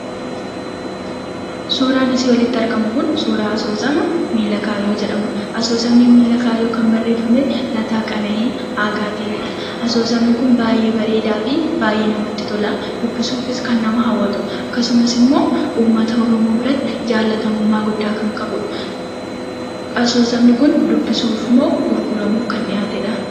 Suuraan asii olitti argamu kun suuraa asoosama "Miila Kaayyoo" jedhamudha. Asoosamni miila kaayyoo kan barreeffame Lataa qene'ii Aagaatiini. Asoosamni kun baay'ee bareedaa fi baay'ee namatti tolaa. Dubbisuufis kan nama hawwatudha. Akkasumas immoo uummata oromoo biratti jaallatamummaa guddaa kan qabudha. Asoosamni kun dubbisuuf moo gurguramuuf kan dhiyaatedhaa?